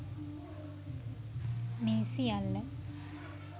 මේ සියල්ල